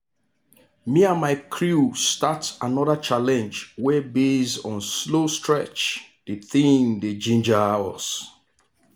me and my crew start another challenge wey base on slow stretch the thing dey ginger us.